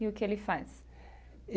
E o que ele faz?